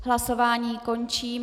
Hlasování končím.